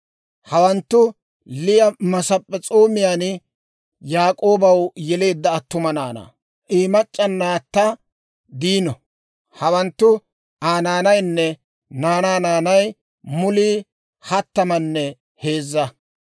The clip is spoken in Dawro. Hawanttu Liya Masp'p'es'oomiyaan Yaak'oobaw yeleedda attuma naanaa; I mac'c'a naatta Diino. Hawanttu Aa naanaynne naanaa naanay mulii hattamanne heezza.